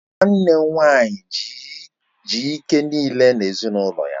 Nwanne m nwaanyị ji ike niile na ezinụlọ ya.